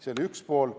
See oli üks pool.